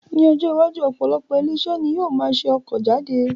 Ní ọjọ́ iwájú, opolopo ile-ise ni yoo maa se oko jade